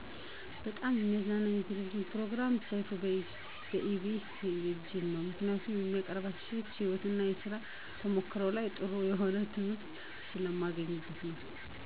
በጣም የሚያዝናናኝ የቴሌቪዥን ፕሮግራም ሰይፉ በኢቢኤስ ቴሌቪዥን ነው. ምክንያቱም ከሚያቀርባቸው ሰዎች የህይወት እና የስራ ተሞክሯቸው ላይ ጥሩ የሆነ ትምህርት ስለማገኝበት ነው.